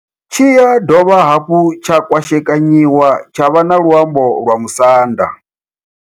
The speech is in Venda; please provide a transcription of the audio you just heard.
Tshi ya dovha hafhu tsha kwashekanyiwa tsha vha na luambo lwa Musanda.